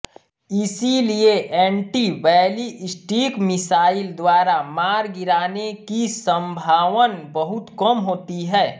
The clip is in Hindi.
इसलिए एंन्टी बैलिस्टिक मिसाइल द्वारा मार गिराने की सम्भावन बहुत कम होती है